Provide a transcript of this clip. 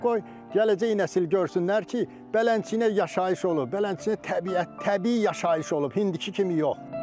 Qoy gələcək nəsil görsünlər ki, belənsənə yaşayış olub, belənsənə təbiət, təbii yaşayış olub, indiki kimi yox.